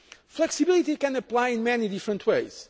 Flexibility can apply in many different